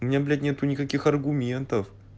меня блять нет никаких аргументов